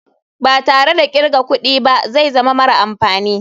Ba tare da kirga kudi ba zai zama mara amfani.